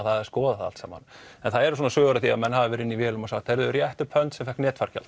að skoða það allt saman en það eru svona sögur af því að menn hafi verið inni í vélum og sagt heyrðu rétt upp hönd sem fékk